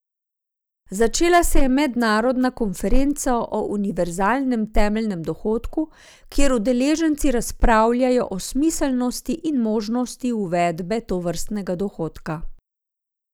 Začela se je mednarodna konferenca o univerzalnem temeljnem dohodku, kjer udeleženci razpravljajo o smiselnosti in možnosti uvedbe tovrstnega dohodka.